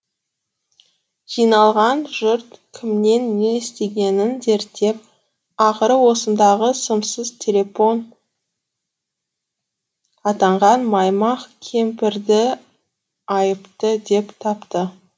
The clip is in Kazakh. жиналған жұрт кімнен не естігенін зерттеп ақыры осындағы сымсыз телепон атанған маймақ кемпірді айыпты деп тапты